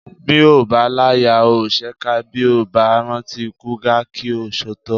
Bí o bá láyà ò ṣèkà bí o bá rántí ikú Gáà kí o sòótọ́